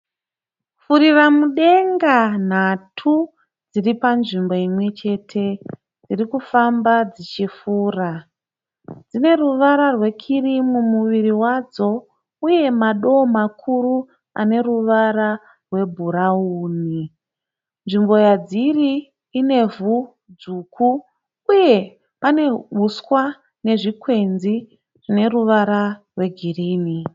Furiramudenga nhatu dziripanzvimbo imwechete. Dzirikufamba dzichifura. Dzine ruvara rwekirimu muviri wadzo uye madoo makuru ane ruvara rwebhurawuni. Nzvimbo yadziri inevhu dzvuku uye uswa nezvikwenzi zvine ruvara rwegirinhi.